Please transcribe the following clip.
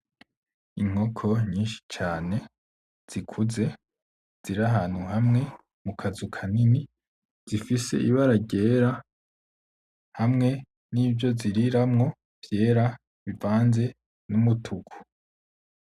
Inkoko nyinshi cane, zikuze, ziri ahantu hamwe mu kazu kanini zifise ibara ryera hamwe nivyo ziriramwo vyera bivanze n'umutuku.